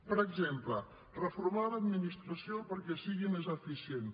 per exemple reformar l’administració perquè sigui més eficient